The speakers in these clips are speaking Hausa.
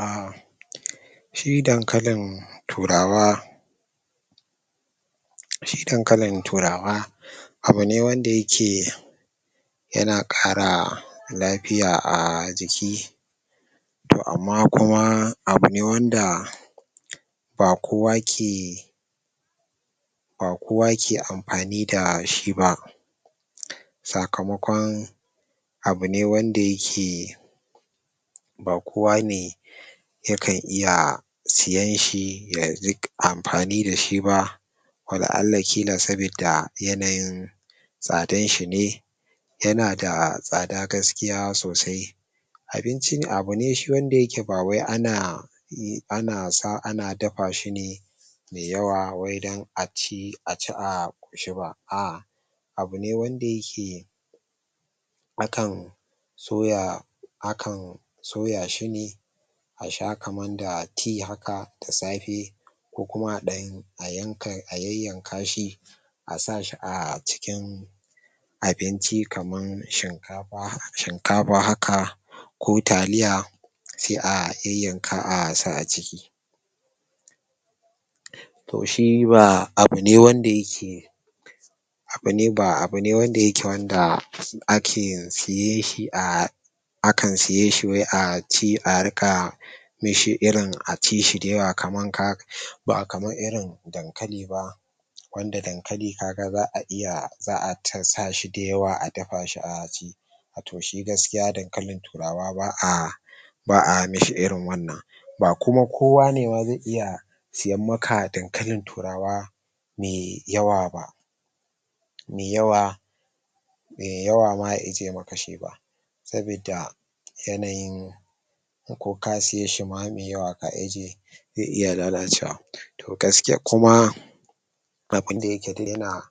um shi dankalin turawa shi dankalin turawa abune wanda yake yana ƙara lafiya a jiki to amma kuma abune wanda ba kowa ke ba kowa ke amfani da shiba saka makon abune wanda yake ba kowa ne yakan iya siyan shi yariƙa amfani dashi ba wala alla ƙila sabida yanayin tsadan shine yanda tsada gaskiya sosai abinci ne abune shi wanda yake bawai ana yi ana sa ana dafashi ne me yawa wai dan aciki a ƙoshiba a'a abune wanda yake akan to ya akan sau ya shine asha kaman da tea haka da safe ko kuma aɗan ayanka ayan yan kashi asashi acikin abinci kaman shinkafa shinkafa haka ko taliya se a yai yanka asa aciki to shi ba abune wanda yake abune ba abune wanda ake siyanshi a akan siyanshi wai aci a riƙa ne shi irin aci shi dayawa kaman kag bakaman irin dankaliba wanda dankali kaga za a iya za a sashi a dafashi aci to shi gaskiya dankalin turawa ba'a, ba a mishi irin wannan ba kuma kowane ma ze iya siyan maka dankalin turawa me yawa ba me yawa me yawaba ya ijjiye maka shi ba sabidda yanayin ko ka siyeshi ma me yawa ka ijjiye ze iya lala cewa gaskiya kuma abin dayake duk yana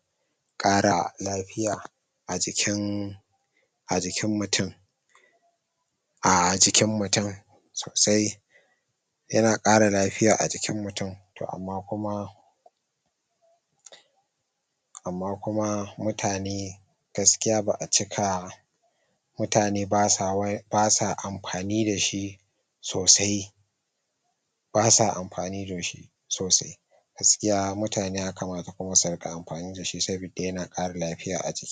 ƙara lafiya ajikin ajikin mutun ajikin mutun sosai yana ƙara lafiya ajikin mutun to amma kuma amma kuma mutane gaskiya ba a cika mutane basa amfani da shi sosai basa amfani dashi sosai gaskiya mutane yakamata kuma su ruƙa amfani dashi sabida yana ƙara lafiya ajiki